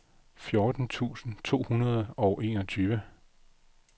fjorten tusind to hundrede og enogtyve